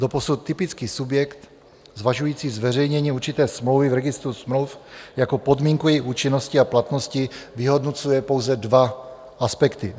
Doposud typický subjekt zvažující zveřejnění určité smlouvy v registru smluv jako podmínku její účinnosti a platnosti vyhodnocuje pouze dva aspekty.